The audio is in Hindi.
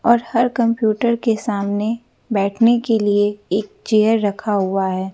और हर कंप्यूटर के सामने बैठने के लिए एक चेयर रखा हुआ है।